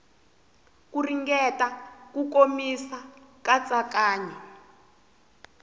ku ringeta ku komisa katsakanya